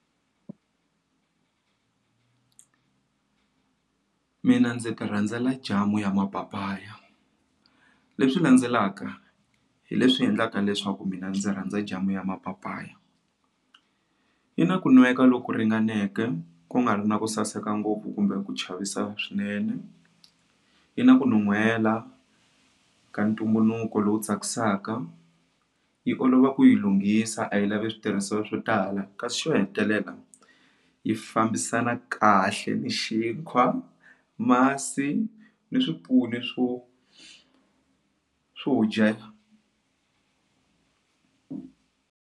Mina ndzi ti rhandzela jamu ya Mapapaya leswi landzelaka hi leswi endlaka leswaku mina ndzi rhandza jamu ya mapapaya yi na ku nweka loku ringaneke ku nga ri na ku saseka ngopfu kumbe ku chavisa swinene yi na ku nuhwela ka ntumbuluko lowu tsakisaka yi olova ku yi lunghisa a yi lavi switirhisiwa swo tala kasi xo hetelela yi fambisana kahle ni xinkwa masi ni swipfuni swo swo dyela.